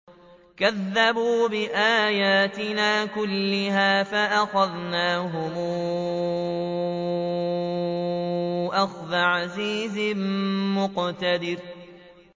كَذَّبُوا بِآيَاتِنَا كُلِّهَا فَأَخَذْنَاهُمْ أَخْذَ عَزِيزٍ مُّقْتَدِرٍ